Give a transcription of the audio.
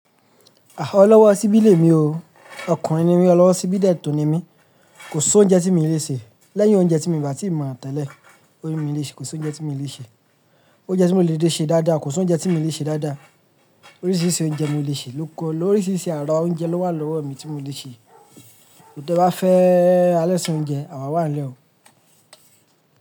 Ọlọ́wọ́ ṣíbí lè mi o. Ọkùnrin ni mí, ọlọ́wọ́ ṣíbí dẹ̀tu ni mí. Kò sí oúnjẹ tí mi lè ṣe. Lẹ́yìn oúnjẹ tí mo bà tí mọ̀ tẹ́lẹ̀, ó ni mi léṣẹ́. Kò sí oúnjẹ tí mo lè ṣe. Oúnjẹ tí mi lè ṣe dáadáa, kò sí oúnjẹ tí mi lè ṣe dáadáa. Oríṣiríṣi oúnjẹ mo lè ṣe, Oríṣiríṣi àrà oúnjẹ ló wà lọ́wo mi tí mo lè ṣe. Bí ó bá fẹ́ alẹ́ṣùn oúnjẹ, àwa wà nílẹ̀ o.